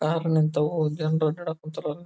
Car ನಿಂತವ್ ಜನ್ರು ಆಟ ಆಡ ಕುಂತರ್.